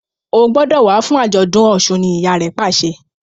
O gbódò wá fún ajọdun òsùn! ní ìyá rẹ pàṣẹ